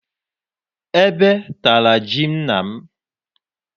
Ebe tara ji nna m.